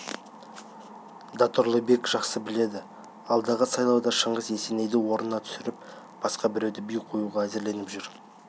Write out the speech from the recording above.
да тұрлыбек жақсы біледі алдағы сайлауда шыңғыс есенейді орнынан түсіріп басқа біреуді би қоюға әзірленіп жүр